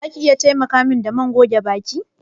Za ki iya taimaka min da man goge baki?